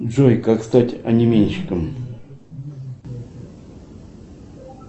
джой как стать анименщиком